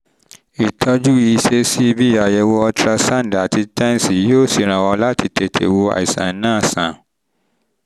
ìtọ́jú um ìṣesí bí àyẹ̀wò ultrasound àti tens yóò ṣèrànwọ́ láti tètè wo àìsàn náà sàn